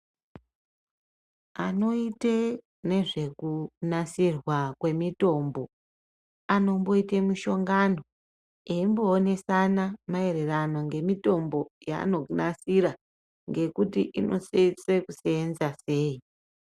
Anoita nezvekunasirwa kwemitombo anomboita mishongana eindodetserana maererano nemitombo yanonasira nekuti inosenza kusenza sei.